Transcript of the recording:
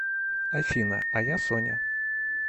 афина а я соня